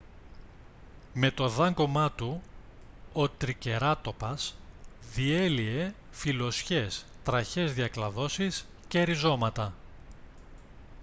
με το δάγκωμά του ο τρικεράτοπας διέλυε φυλλωσιές τραχιές διακλαδώσεις και ριζώματα